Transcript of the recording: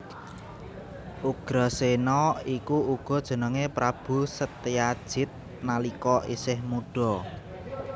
Ugrasena iku uga jenengé Prabu Setyajid nalika isih mudha